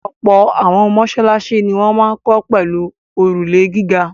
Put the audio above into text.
Ọ̀pọ̀ àwọn mọ́ṣáláṣí ni wọ́n máa ń kọ́ pẹ̀lú òrùlé gíga.